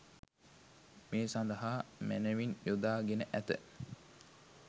මේ සඳහා මැනවින් යොදා ගෙන ඇත.